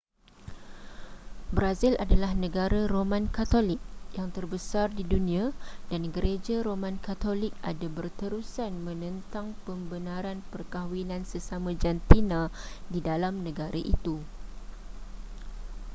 brazil adalah negara roman katolik yang terbesar di dunia dan gereja roman katolik ada berterusan menentang pembenaran perkahwinan sesama jantina di dalam negara itu